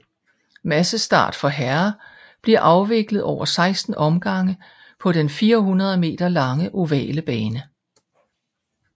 Massestart for herrer bliver afviklet over 16 omgange på den 400 meter lange ovale bane